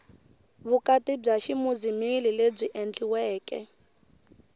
vukati bya ximuzilimi lebyi endliweke